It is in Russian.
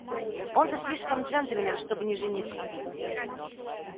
он-то слишком джентльмен чтобы не жениться